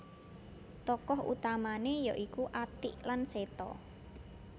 Tokoh utamane ya iku Atik lan Seto